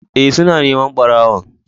Ee, suna neman ɓarawon.